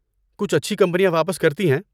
کچھ اچھی کمپنیاں واپس کرتی ہیں۔